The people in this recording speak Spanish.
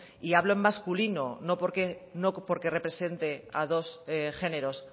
y hablo en masculino no porque represente a dos géneros